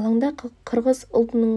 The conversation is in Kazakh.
алаңда қырғыз ұлтының